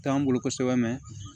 T'an bolo kosɛbɛ